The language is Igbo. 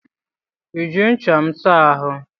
I ji ncha m saa ahụ?